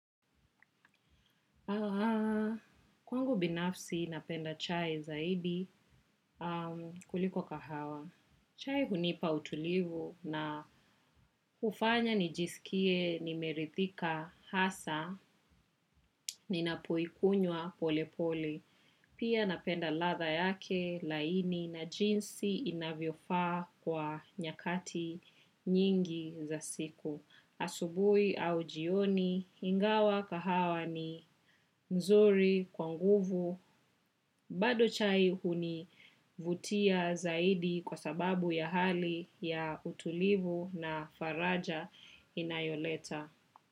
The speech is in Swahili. Kwangu binafsi napenda chai zaidi kuliko kahawa. Chai hunipa utulivu na hufanya nijisikie nimeridhika hasa ninapoikunwa pole pole. Pia napenda ladha yake laini na jinsi inavyofaa kwa nyakati nyingi za siku. Asubuhi au jioni ingawa kahawa ni mzuri kwa nguvu bado chai hunivutia zaidi kwa sababu ya hali ya utulivu na faraja inayoleta.